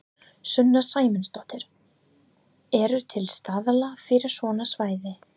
Sunna Sæmundsdóttir: Eru til staðlar fyrir svona svæði?